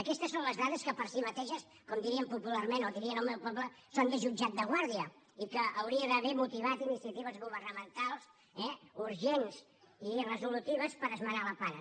aquestes són les dades que per si mateixes com diríem popularment o dirien al meu poble són de jutjat de guàrdia i que hauria d’haver motivat iniciatives governamentals eh urgents i resolutives per esmenar la plana